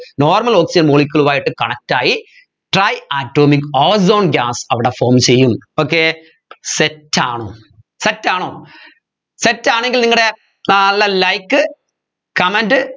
normal oxygen molecule ഉമായിട്ട് connect ആയി tri atomic ozone gas അവിടെ form ചെയ്യും okay set ആണോ set ആണോ set ആണെങ്കിൽ നിങ്ങടെ നല്ല likecomment